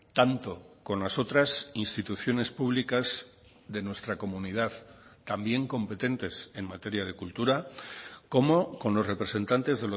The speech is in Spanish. tanto con las otras instituciones públicas de nuestra comunidad también competentes en materia de cultura como con los representantes